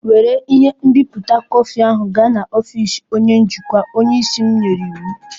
Were ihe na-emepụta kọfị ahụ gaa n'ọfịs onye njikwa! Onye isi m nyere iwu.